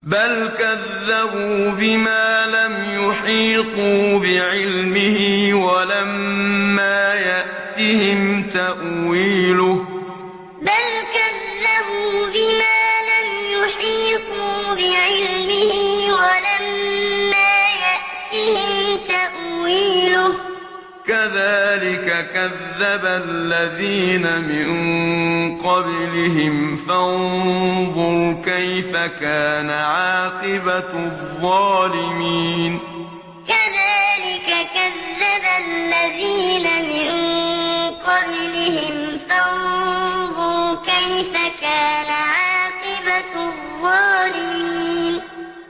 بَلْ كَذَّبُوا بِمَا لَمْ يُحِيطُوا بِعِلْمِهِ وَلَمَّا يَأْتِهِمْ تَأْوِيلُهُ ۚ كَذَٰلِكَ كَذَّبَ الَّذِينَ مِن قَبْلِهِمْ ۖ فَانظُرْ كَيْفَ كَانَ عَاقِبَةُ الظَّالِمِينَ بَلْ كَذَّبُوا بِمَا لَمْ يُحِيطُوا بِعِلْمِهِ وَلَمَّا يَأْتِهِمْ تَأْوِيلُهُ ۚ كَذَٰلِكَ كَذَّبَ الَّذِينَ مِن قَبْلِهِمْ ۖ فَانظُرْ كَيْفَ كَانَ عَاقِبَةُ الظَّالِمِينَ